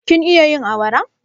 Kin iya yin awara?